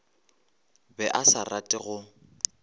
be a sa rate go